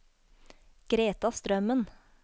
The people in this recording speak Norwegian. Greta Strømmen